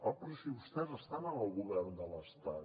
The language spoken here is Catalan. oh però si vostès estan en el govern de l’estat